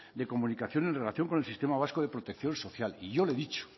de comunicación en relación con el sistema vasco de protección social y yo le he dicho